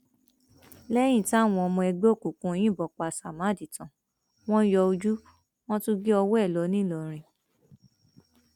lẹyìn táwọn ọmọ ẹgbẹ òkùnkùn yìnbọn pa samád tán wọn yọ ojú wọn tún gé ọwọ ẹ lọ ńìlọrin